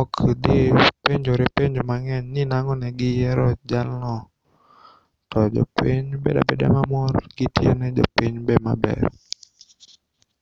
okdhi penjore penjo mang'eny ni nang'o negiyiero jalno tojopiny bedabeda maber to gitio ne jopiny maber.